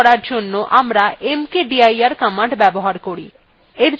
directory তৈরী করার জন্য আমরা mkdir command ব্যবহার করি